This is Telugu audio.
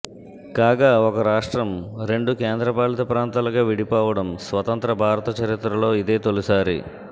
కాగా ఒక రాష్ట్రం రెండు కేంద్రపాలిత ప్రాంతాలుగా విడిపో వడం స్వతంత్ర భారత చరిత్రలో ఇదే తొలిసారి